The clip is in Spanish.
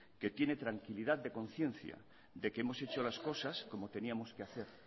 que tiene tranquilidad de conciencia de que hemos hecho las cosas como teníamos que hacer